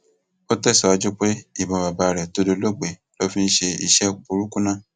ó tẹsíwájú pé ìbọn bàbá rẹ tó dolóògbé ló ń lọ fi ṣe iṣẹ burúkú náà